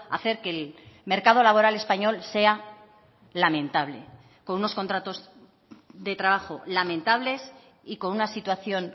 a hacer que el mercado laboral español sea lamentable con unos contratos de trabajo lamentables y con una situación